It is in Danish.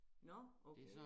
Nå okay